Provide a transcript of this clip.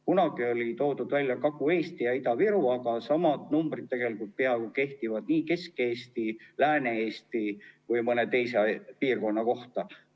Kunagi toodi esile Kagu-Eestit ja Ida-Virumaad, aga peaaegu samad numbrid kehtivad tegelikult nii Kesk-Eesti, Lääne-Eesti kui ka mõne teise piirkonna kohta.